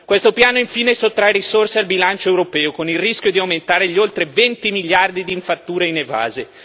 Questo piano infine sottrae risorse al bilancio europeo, con il rischio di aumentare gli oltre 20 miliardi di fatture inevase.